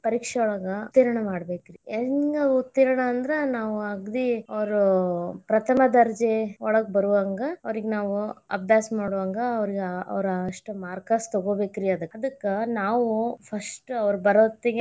ಪರೀಕ್ಷೆಯೊಳಗ ಉತ್ತೀರ್ಣ ಮಾಡ್ಬೇಕರಿ ಹೆಂಗ ಉತ್ತೀರ್ಣ ಅಂದ್ರ ನಾವ್ ಅಗದಿ ಅವ್ರು ಪ್ರಥಮ ದರ್ಜೆ ಒಳಗ್ ಬರುಹಂಗ ಅವರೀಗ ನಾವು ಅಭ್ಯಾಸ ಮಾಡುಹಂಗ ಅವರ ಅಷ್ಟ್ marks ಅದಕ್ಕ್ ನಾವು first ಅವ್ರ ಬರೊತ್ತಿಗೆ.